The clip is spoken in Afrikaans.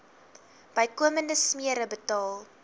bykomende smere betaal